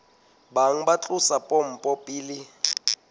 bang ba tlosa pompo pele